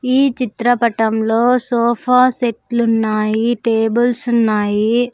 ఈ చిత్రపటంలో సోఫా సెట్లు ఉన్నాయి టేబుల్స్ ఉన్నాయి.